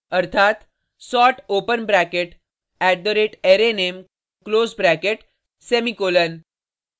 अर्थात sort open bracket @arrayname close bracket semicolon